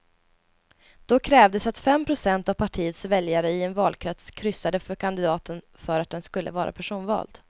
Då krävdes att fem procent av partiets väljare i en valkrets kryssade för kandidaten för att den skulle vara personvald.